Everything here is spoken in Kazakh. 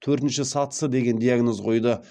төртінші сатысы деген диагноз қойды